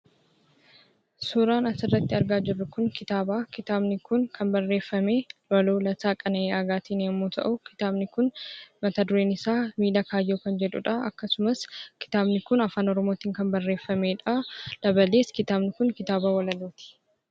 Suuraan asirratti argaa jirru kun kitaaba. Kitaabni kun kan barreeffame waloo Lataa Qana'ii Aagaatiin yommuu ta'u, kitaabni kun mata-dureen isaa 'Miila Kaayyoo' kan jedhuudha. Akkasumas, kitaabni kun Afaan Oromootiin kan barreeffameedha. Dabalees, kitaabni kun kitaaba walaloo ti.